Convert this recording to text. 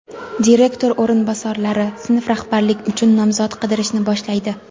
Direktor o‘rinbosarlari sinf rahbarlik uchun nomzod qidirishni boshlaydi.